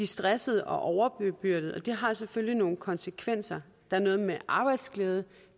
stressede og overbebyrdede og det har selvfølgelig nogle konsekvenser der er noget med arbejdsglæde